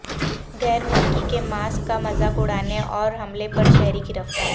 غیر ملکی کے ماسک کا مذاق اڑانے اور حملے پر شہری گرفتار